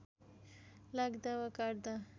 लाग्दा वा काट्ता